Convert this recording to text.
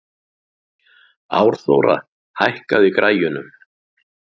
Árþóra, hækkaðu í græjunum.